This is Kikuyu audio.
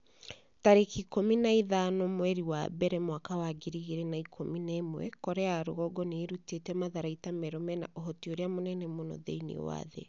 tarĩki ikũmi na ithano mweri wa mbere mwaka wa ngiri igĩrĩ na ikũmi na ĩmwe Korea ya rũgongo nĩ ĩrutĩte matharaita merũ mena ũhoti ũrĩa mũnene mũno thĩinĩ wa thĩ.'